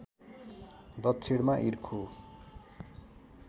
दक्षिणमा इर्खु